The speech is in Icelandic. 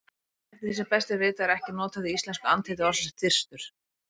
Eftir því sem best er vitað er ekki notað í íslensku andheiti orðsins þyrstur.